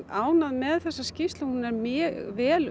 ánægð með þessa skýrslu hún er mjög vel